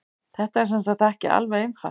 Þetta er sem sagt ekki alveg einfalt.